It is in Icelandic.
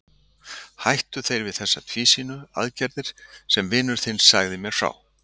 Hættu þeir við þessa tvísýnu aðgerð sem vinur þinn sagði mér frá?